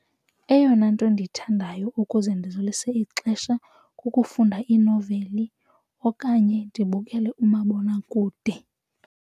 Eyona nto endiyithandayo ukuze ndidlulise ixesha kukufunda inoveli okanye ndibukele umabonakude.